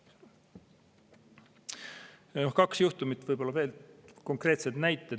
Võib-olla kaks juhtumit, konkreetsed näited.